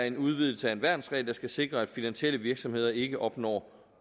en udvidelse af en værnsregel der skal sikre at finansielle virksomheder ikke opnår